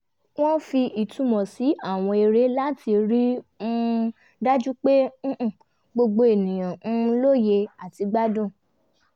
wọ́n fi ìtumọ̀ sí àwọn eré láti rí um dájú pé gbogbo ènìyàn um lóye àti gbádùn